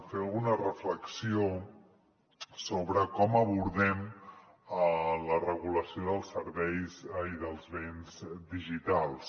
fer alguna reflexió sobre com abordem la regulació dels serveis i dels béns digitals